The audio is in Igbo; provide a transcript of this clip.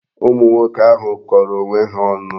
Ụmụ nwoke ahu kọrọ onwe ha ọnụ.